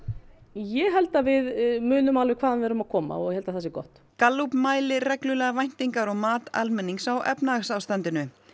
ég held að við munum alveg hvaðan við erum að koma og ég held að það sé gott Gallup mælir reglulega væntingar og mat almennings á efnahagsástandinu